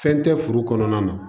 Fɛn tɛ furu kɔnɔna na